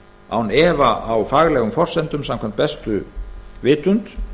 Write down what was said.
án efa á faglegum forsendum samkvæmt bestu vitund